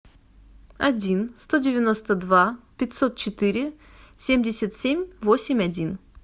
один сто девяносто два пятьсот четыре семьдесят семь восемь один